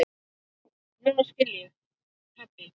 Núna skil ég, pabbi.